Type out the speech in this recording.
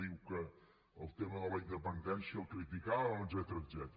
diu que el tema de la independència el criticàvem etcètera